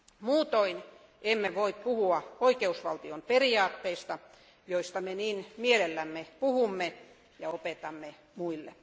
Muutoin emme voi puhua oikeusvaltion periaatteista, joista me niin mielellämme puhumme ja opetamme muille.